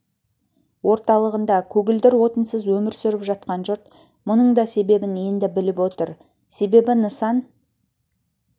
орталығында көгілдір отынсыз өмір сүріп жатқан жұрт мұның да себебін енді біліп отыр себебі нысан